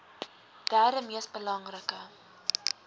derde mees belangrike